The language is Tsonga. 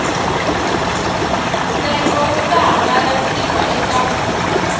ntsengo wu ta hangalasiwa eka